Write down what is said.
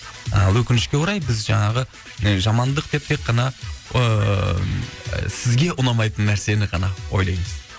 ы өкінішке орай біз і жаңағы жамандық деп тек қана ыыы сізге ұнамайтын нәрсені ғана ойлаймын